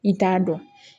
I t'a dɔn